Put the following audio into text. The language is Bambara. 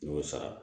N y'o sara